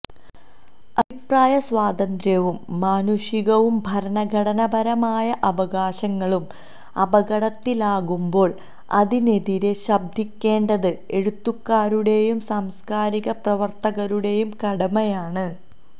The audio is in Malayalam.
അഭിപ്രായ സ്വാതന്ത്യവും മാനുഷികവും ഭരണഘടനാപരവുമായ അവകാശങ്ങളും അപകടത്തിലാകുമ്പോള് അതിനെതിരെ ശബ്ദിക്കേണ്ടത് എഴുത്തുകാരുടെയും സാംസ്കാരിക പ്രവര്ത്തകരുടെയും കടമയാണ്